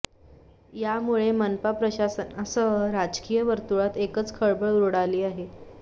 यामुळे मनपा प्रशासनासह राजकीय वर्तूळात एकच खळबळ उडाली आहे